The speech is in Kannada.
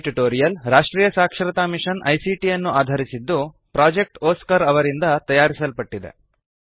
ಈ ಟ್ಯುಟೋರಿಯಲ್ ರಾಷ್ಟ್ರೀಯ ಸಾಕ್ಷರತಾ ಮಿಶನ್ ಐಸಿಟಿ ಯನ್ನು ಆಧರಿಸಿದ್ದು ಪ್ರೊಜೆಕ್ಟ್ ಒಸ್ಕಾರ್ ಅವರಿಂದ ತಯಾರಿಸಲ್ಪಟ್ಟಿದೆ